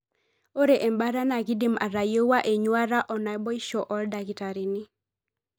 Ore embaata na kindim atayieuwua enyuata onaibosho oldakitarini.